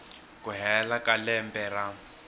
ku hela ka lembe ra